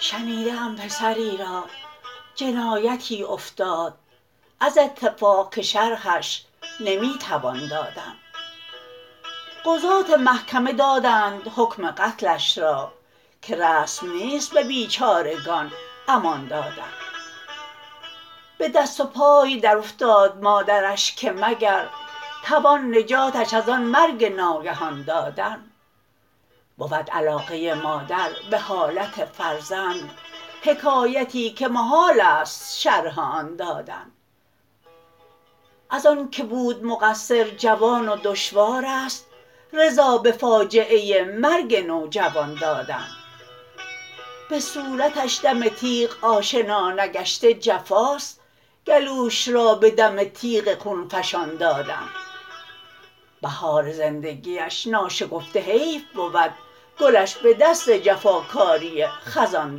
شنیده ام پسری را جنایتی افتاد از اتفاق که شرحش نمی توان دادن قضات محکمه دادند حکم قتلش را که رسم نیست به بیچارگان امان دادن به دست و پای درافتاد مادرش که مگر توان نجاتش از آن مرگ ناگهان دادن بود علاقه مادر به حالت فرزند حکایتی که محال است شرح آن دادن از آن که بود مقصر جوان و دشوار است رضا به فاجعه مرگ نوجوان دادن به صورتش دم تیغ آشنا نگشته جفاست گلوش را به دم تیغ خونفشان دادن بهار زندگیش ناشکفته حیف بود گلش به دست جفاکاری خزان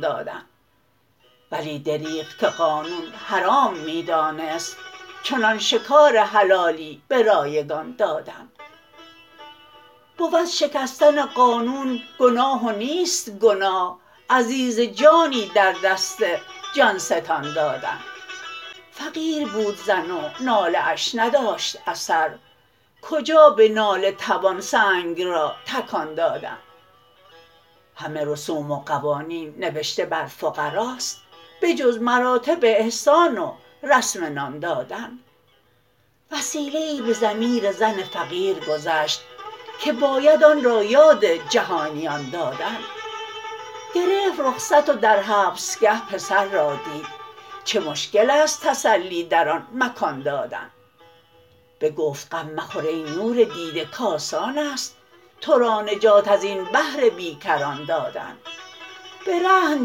دادن ولی دربغ که قانون حرام می دانست چنان شکار حلالی به رایگان دادن بود شکستن قانون گناه و نیست گناه عزیز جانی در دست جان ستان دادن فقیر بود زن و ناله اش نداشت اثر کجا به ناله توان سنگ را تکان دادن همه رسوم و قوانین نوشته بر فقراست بجز مراتب احسان و رسم نان دادن وسیله ای به ضمیر زن فقیرگذشت که باید آن را یاد جهانیان دادن گرفت رخصت و در حبسگه پسر را دید چه مشکل است تسلی در آن مکان دادن بگفت غم مخور ای نور دیده کاسانست ترا نجات ازین بحر بیکران دادن به رهن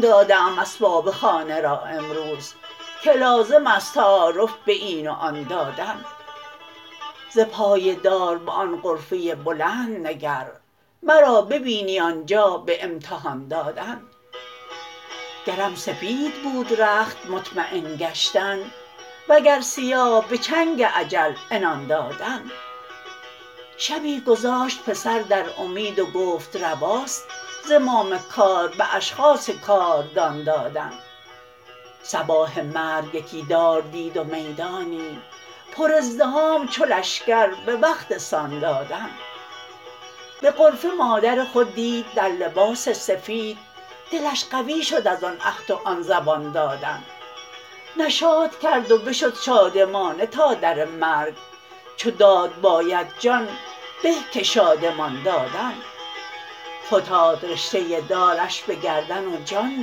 داده ام اسباب خانه را امروز که لازمست تعارف به این و آن دادن ز پای دار به آن غرفه بلند نگر مرا ببینی آنجا به امتحان دادن گرم سپیدبود رخت مطمین گشتن وگر سیاه به چنگ اجل عنان دادن شبی گذاشت پسر در امید وگفت رواست زمام کار به اشخاص کاردان دادن صباح مرگ یکی دار دید و میدانی پر ازدحام چو لشکر به وقت سان دادن به غرفه مادر خود دید در لباس سفید دلش قوی شد از آن عهد و آن زبان دادن نشاط کرد و بشد شادمانه تا در مرگ چو داد باید جان به که شادمان دادن فتاد رشته دارش به گردن و جان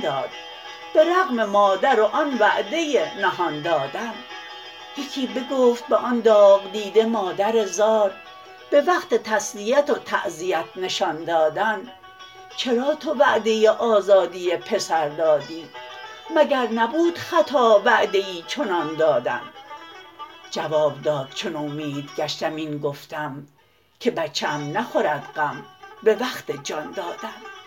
داد به رغم مادر و آن وعده نهان دادن یکی بگفت به آن داغدیده مادر زار به وقت تسلیت وتعزیت نشان دادن چرا تو وعده آزادی پسر دادی مگر نبود خطا وعده ای چنان دادن جواب داد چو نومیدگشتم این گفتم که بچه ام نخورد غم به وقت جان دادن